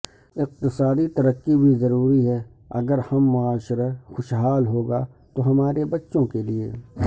اقتصادی ترقی بھی ضروری ہے اگر ہم معاشرہ خوشحال ہوگا تو ہمارے بچوں کیلئ